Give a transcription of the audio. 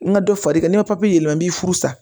N ka dɔ fara i kan n'i ye yɛlɛma i b'i furu sa